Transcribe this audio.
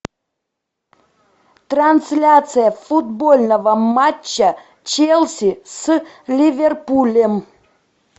трансляция футбольного матча челси с ливерпулем